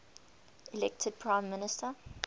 elected prime minister